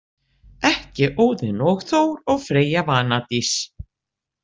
Ekki Óðinn og Þór og Freyja Vanadís.